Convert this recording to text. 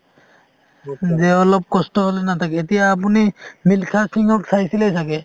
যে অলপ কষ্ট হ'লে নাথাকে , এতিয়া আপুনি মিলখা সিংক চাইছিলে চাগে